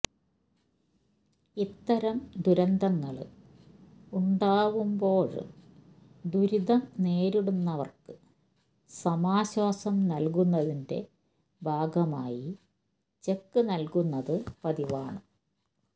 ഇത്തരം ദുരന്തങ്ങള് ഉണ്ടാവുമ്പോള് ദുരിതം നേരിടുന്നവര്ക്ക് സമാശ്വാസം നല്കുന്നതിന്റെ ഭാഗമായി ചെക്ക് നല്കുന്നത് പതിവാണ്